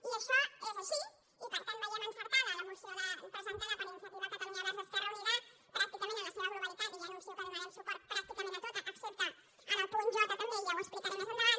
i això és així i per tant veiem encertada la moció presentada per iniciativa catalunya verds esquerra unida pràcticament en la seva globalitat i ja anuncio que donarem suport pràcticament a tot excepte al punt jendavant